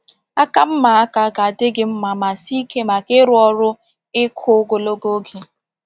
Aka mma aka ga-adị gị mma ma sie ike maka ịrụ ọrụ ịkụ ogologo oge.